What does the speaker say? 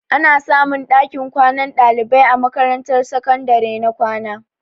Ana samun ɗakin kwanan ɗalibai a makarantar sakandare na kwana.